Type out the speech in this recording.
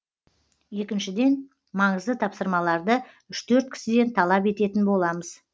екіншіден маңызды тапсырмаларды үш төрт кісіден талап ететін боламыз